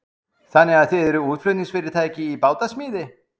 Kristján Már Unnarsson: Þannig að þið eruð útflutningsfyrirtæki í bátasmíði?